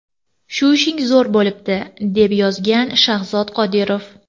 Shu ishing zo‘r bo‘libdi!”, deb yozgan Shahzod Qodirov.